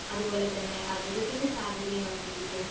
അതുപോലെ തന്നെ അർബുദത്തിന്റെ സാധ്യതയും വർധിപ്പിക്കും .